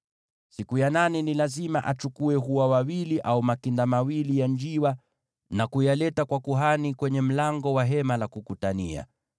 Siku ya nane ni lazima achukue hua wawili au makinda mawili ya njiwa, na kumletea kuhani kwenye mlango wa Hema la Kukutania.